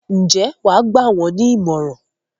Ǹjẹ́ wà á gbà wọ́n ní ìmọ̀ràn?